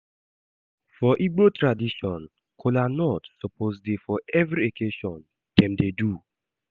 For Igbo tradition, kolanut suppose dey for every occassion dem dey do.